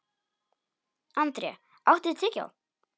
André, áttu tyggjó?